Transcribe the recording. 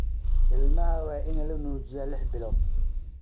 Ilmaha waa in la nuujiyaa lix bilood